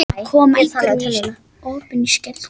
Að koma einhverjum í opna skjöldu